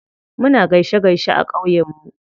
Muna gaishe gaishe a ƙauye mu.